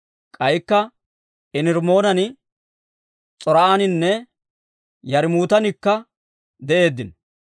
K'aykka Enirimmoonan, S'or"aaninne Yarmmuutanikka de'eeddino.